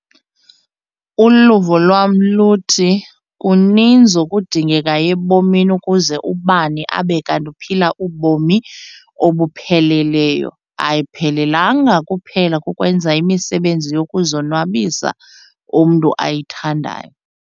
Uluvo lwam luthi kuninzi okudingekayo ebomini ukuze ubani abe kanti uphila ubomi obupheleleyo, ayiphelelanga kuphela kukwenza imisebenzi yokuzonwabisa umntu ayithandayo.